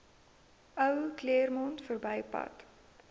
ou claremont verbypad